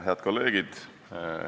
Head kolleegid!